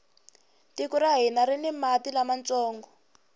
tiko ra hina rini mati lamantsongo